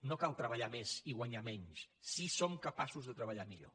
no cal treballar més i guanyar menys si som capaços de treballar millor